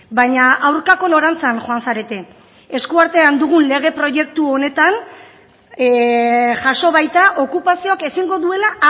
baina aurkako norantzan joan zarete esku artean dugun lege proiektu honetan jaso baita okupazioak ezingo duela